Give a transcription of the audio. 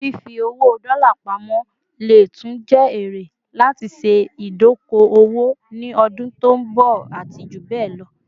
Fifi owó dola pamo lè tún jé ère láti ṣe idoko - owó ni ọdún tọ nbo àti jubẹlọ